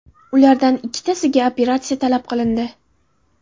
Ulardan ikkitasiga operatsiya talab qilindi.